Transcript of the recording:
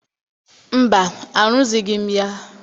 Mba, arụzighị m ya.